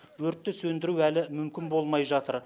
өртті сөндіру әлі мүмкін болмай жатыр